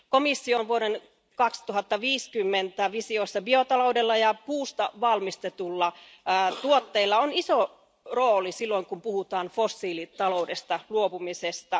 Komission vuoden 2050 visiossa biotaloudella ja puusta valmistetuilla tuotteilla on iso rooli, silloin kun puhutaan fossiilitaloudesta luopumisesta.